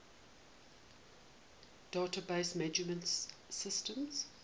database management systems